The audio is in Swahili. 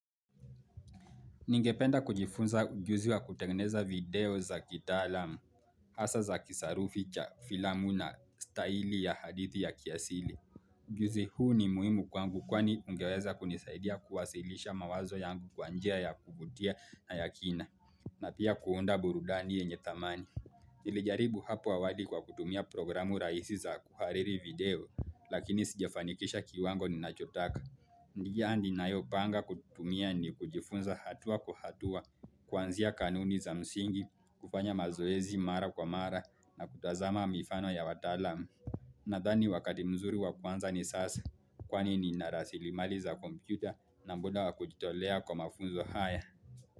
Ningependa kujifunza ujuzi wa kutengeneza video za kitaalamu, hasa za kisarufi cha filamu na staili ya hadithi ya kiasili. Ujuzi huu ni muhimu kwangu kwani ungeweza kunisaidia kuwasilisha mawazo yangu kwa njia ya kuvutia na ya kina. Na pia kuunda burudani yenye thamani. Nilijaribu hapo awali kwa kutumia programu rahisi za kuhariri video, lakini sijafanikisha kiwango ninachotaka. Njia ninayopanga kutumia ni kujifunza hatua kwa hatua. Kwanzia kanuni za msingi, kufanya mazoezi mara kwa mara na kutazama mifano ya wataalam Nadhani wakati mzuri wakuanza ni sasa, Kwani nina rasilimali za kompyuta na muda wakujitolea kwa mafunzo haya.